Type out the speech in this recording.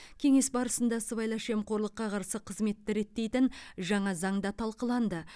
кеңес барысында сыбайлас жемқорлыққа қарсы қызметті реттейтін жаңа заң да талқыланды